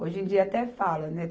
Hoje em dia até fala, né?